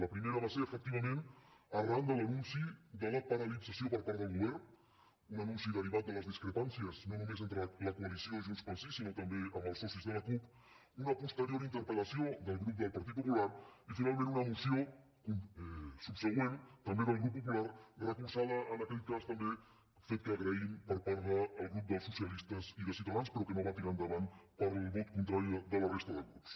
la primera va ser efectivament arran de l’anunci de la paralització per part del govern un anunci derivat de les discrepàncies no només entre la coalició junts pel sí sinó també amb els socis de la cup una posterior interpel·lació del grup del partit popular i finalment una moció subsegüent també del grup popular recolzada en aquell cas també fet que agraïm per part del grup dels socialistes i de ciutadans però que no va tirar endavant pel vot contrari de la resta de grups